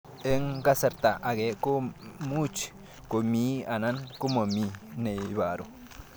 Eng' kasarta ag'e ko much ko mii anan komamii ne ibaru